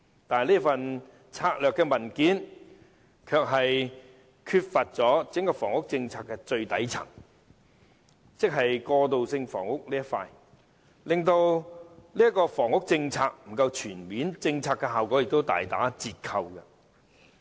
可是，這份策略文件的範疇卻欠缺了整個房屋政策的最底層，即過渡性房屋，令整個房屋政策不夠全面，效果也大打折扣。